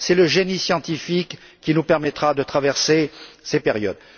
C'est le génie scientifique qui nous permettra de traverser ces périodes.